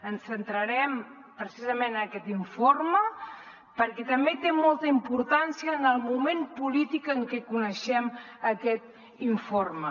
ens centrarem precisament en aquest informe perquè també té molta importància el moment polític en què coneixem aquest informe